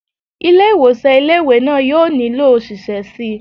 Ilé ìwòsàn ilé ìwé náà yóò nílò òṣìṣẹ́ síi